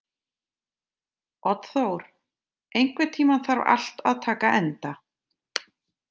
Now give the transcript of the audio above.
Oddþór, einhvern tímann þarf allt að taka enda.